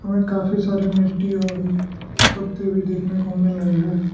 हमे काफी सारी मिट्टी और पत्ते भी देखने को मिल रहे हैं।